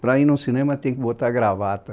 Para ir no cinema, tinha que botar gravata.